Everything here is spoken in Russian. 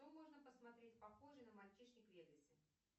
что можно посмотреть похожее на мальчишник в вегасе